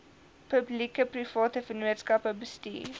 publiekeprivate vennootskappe bestuur